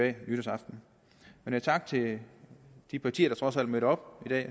af nytårsaften men tak til de partier der trods alt mødte op i dag